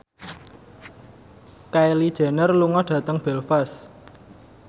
Kylie Jenner lunga dhateng Belfast